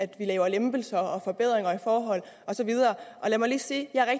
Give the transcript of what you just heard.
vi laver lempelser forbedringer i forhold og så videre lad mig lige sige at jeg er